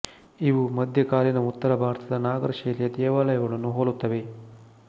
ಇವು ಮಧ್ಯ ಕಾಲೀನ ಉತ್ತರ ಭಾರತದ ನಾಗರ ಶೈಲಿಯ ದೇವಾಲಯಗಳನ್ನು ಹೋಲುತ್ತವೆ